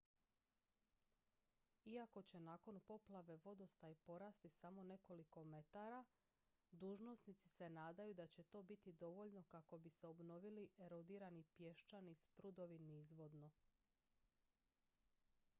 iako će nakon poplave vodostaj porasti samo nekoliko metara dužnosnici se nadaju da će to biti dovoljno kako bi se obnovili erodirani pješčani sprudovi nizvodno